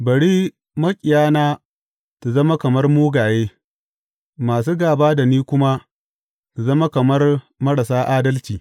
Bari maƙiyana su zama kamar mugaye, masu gāba da ni kuma su zama kamar marasa adalci.